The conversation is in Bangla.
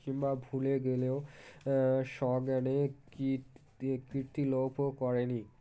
কিংবা ভুলে গেলেও BREATHE আ সজ্ঞানে কীর্তি লোপ ও করেনি